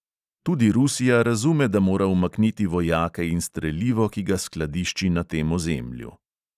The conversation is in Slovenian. Tudi rusija razume, da mora umakniti vojake in strelivo, ki ga skladišči na tem ozemlju.